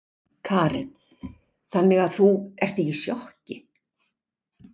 Karen: Þannig að þú, ertu ekki í sjokki?